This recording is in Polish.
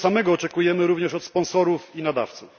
Tego samego oczekujemy również od sponsorów i nadawców.